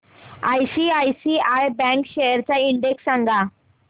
ICICI bank shares चा index सांगा